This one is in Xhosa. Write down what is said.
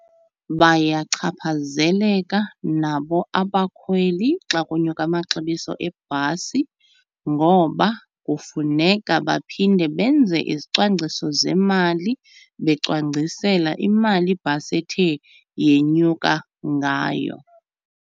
Bayachaphazeleka nabo abakhweli xa kunyuka amaxabiso ebhasi ngoba kufuneka baphinde benze izicwangciso zemali, becwangcisela imali ibhasi ethe yenyuka ngayo.